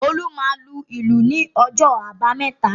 Olú máa lu ìlù ní ọjọ́ àbámẹ́ta